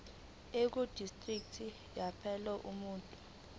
ekudistriki yalapho umuntu